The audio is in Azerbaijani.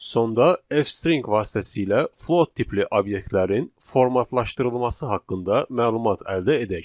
Sonda F string vasitəsilə float tipli obyektlərin formatlaşdırılması haqqında məlumat əldə edək.